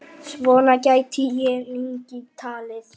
Svona gæti ég lengi talið.